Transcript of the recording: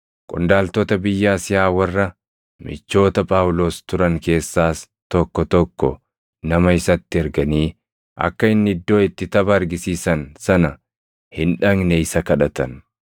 Qondaaltota biyya Asiyaa warra michoota Phaawulos turan keessaas tokko tokko nama isatti erganii akka inni iddoo itti tapha argisiisan sana hin dhaqne isa kadhatan.